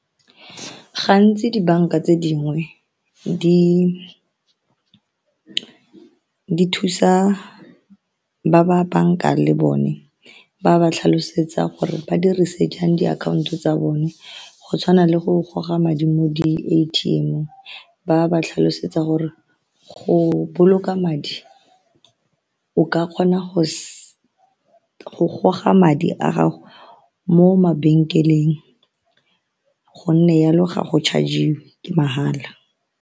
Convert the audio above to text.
Gantsi dibanka tse dingwe di thusa ba ba bankang le bone ba ba tlhalosetsa gore ba dirise jang diakhaonto tsa bone go tshwana le go goga madi mo di-A_T_M ba ba tlhalosetsa gore go boloka madi o ka kgona go goga madi a gago mo mabenkeleng go nne jalo ga go charg-iwe ke mahala.